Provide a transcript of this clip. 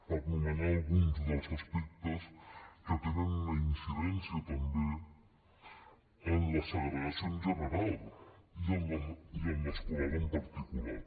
per anomenar alguns dels aspectes que tenen una incidència també en la segregació en general i en l’escolar en particular